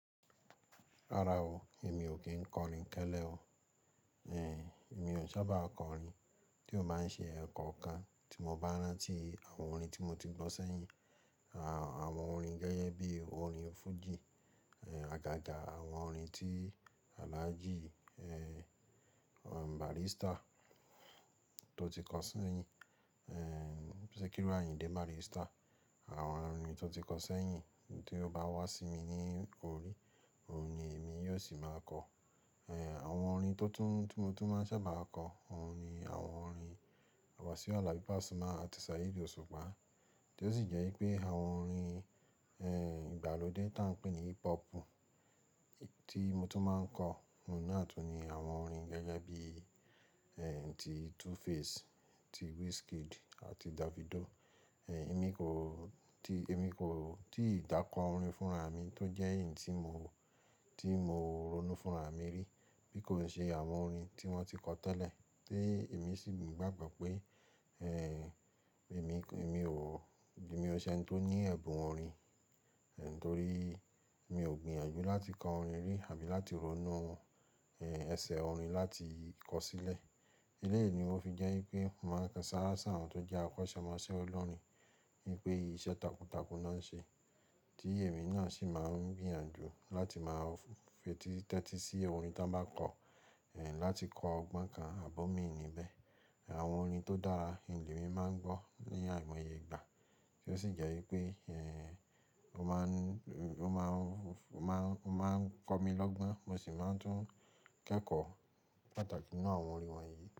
Rárá o, èmi ò kí ń kọ orin télé o. Ehn, èmi ò sábà kọ orin tí ò bá ń ṣe ẹ̀kọ́ kan tí mo bá rántí àwọn orin tí mo ti gbọ́ sẹ́yìn. Àwọn orin gẹ́gẹ́ bí orin fújì, eh, àgàgà àwọn orin tí Alhaji, eh, eh, Barrister tó ti kọ sẹ́yìn, eh, Sikiru Ayinde Barrister. Àwọn orin tó ti kọ sẹ́yìn tí ó bá wá sí mi ní orí, òun ni èmi yóò sì máa kọ. Ehn, àwọn orin tó tún, tí mo tún máa sábà kọ, òun ni àwọn orin wàsi Alabi Pasuma àti Sáyidi Oṣùpá. Tí ó sì jẹ́ wípé àwọn orin, ehn, ìgbàlódé tá ń pè ní hip hop tí mo tún máa ń kọ, òun náà tún ni àwọn orin gẹ́gẹ́ bí, ehn, ti 2Face, ti Wizkid àti Davido. Ehn, èmi kò ti, èmi kò ti ì dà kọ orin fúnra mi tó jẹ́ èyí tí mo, tí mo ronú fúnra mi rí, bí kò ṣe àwọn orin tí wọ́n ti kọ tẹ́lẹ̀ tí èmi sì gbàgbọ́ pé, ehn, èmi kò, èmi ò, èmi ò ṣe ẹni tó ní ẹ̀bùn orin, nítorí mi ò gbìyànjú láti kọ orin rí àbí láti ronú ohun, ehn, ẹsẹ̀ orin láti kọ sílẹ̀. Eléyìí ni ó fi jẹ́ wípé màá ń sanra sọ̀rọ̀ tó jẹ́ akọ́ṣẹ́mọṣẹ́ ọlọ́run ni pé iṣẹ́ takuntakun náà wọ́n ṣe. Tí èmi náà sì máa ń gbìyànjú láti máa fetí tẹ́tí sí ẹ orin tá bá kọ, ehn, láti kọ ọgbọ́n kan àbí o mi níbẹ̀. Àwọn orin tó dára ilẹ̀ mi máa ń gbọ́ ní àìmọye ìgbà tí ó sì jẹ́ wípé, ehn, ó máa ń, ó máa ń, ó máa ń kọ mi lọ́gbọ́n, mo sì máa ń tún kẹ́kọ̀ọ́ pàtàkì nínú àwọn orin wọ̀nyí.